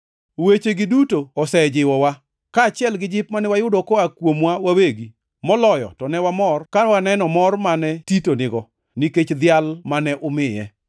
Wechegi duto osejiwowa. Kaachiel gi jip mane wayudo koa kuomwa wawegi, moloyo to ne wamor kane waneno mor mane Tito nigo, nikech dhial mane umiye.